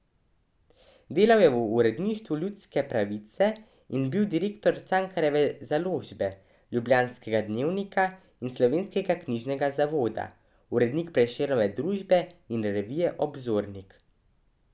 Delal je v uredništvu Ljudske pravice in bil direktor Cankarjeve založbe, Ljubljanskega dnevnika in Slovenskega knjižnega zavoda, urednik Prešernove družbe in revije Obzornik.